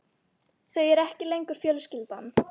Þau eru ekki lengur fjölskyldan.